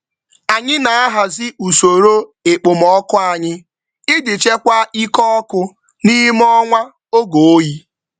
Anyị na-ahazi usoro ekpomọkụ anyị ijii chekwaa ike ọkụ n'ime ọnwa oge oyi